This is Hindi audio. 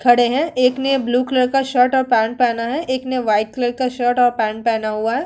खड़े हैं। एक ने ब्लू कलर का शर्ट और पेंट पहना है। एक ने व्हाइट कलर का शर्ट और पेंट पहना हुआ है।